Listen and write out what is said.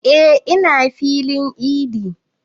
E ina filin idi